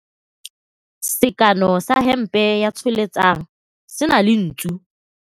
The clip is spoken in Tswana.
Sekanô sa hempe ya Tsholetsang se na le ntsu.